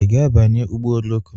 I ga-abanye ụgbọ oroko?